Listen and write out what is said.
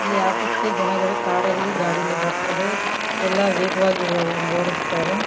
ಇಲ್ಲಿ ಆಫೀಸ್ ಗೆ ಜನಗಳು ಕಾರ್ ಅಲ್ಲಿ ಗಾಡಿಲ್ಲಿ ಬರ್ತಾರೆ ಎಲ್ಲ ವೇಗವಾಗಿ ಓಡಿಸ್ತಾರೆ.